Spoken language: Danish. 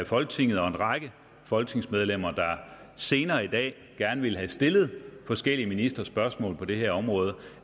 folketinget og en række folketingsmedlemmer der senere i dag gerne ville have stillet forskellige ministre spørgsmål på det her område